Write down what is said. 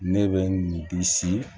Ne bɛ bisi